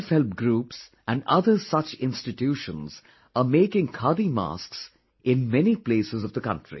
Self help groups and other such institutions are making khadi masks in many places of the country